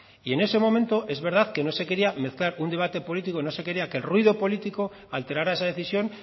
y en ese momento es verdad que no se quería mezclar un debate político no se quería que el ruido político alterara esa decisión